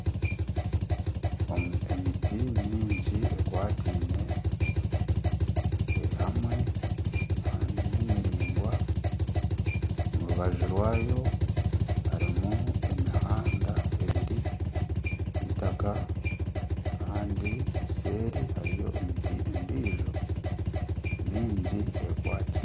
Emiti mingi ekwatiine eri hamwe kandi ni miringwa. Omu rubaju rwayo harimu emihanda ebiri y'itaka Kandi eseeri hariyo emiti endiijo mingi ekwatiine.